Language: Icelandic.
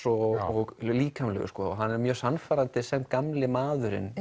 og líkamlegur hann er mjög sannfærandi sem gamli maðurinn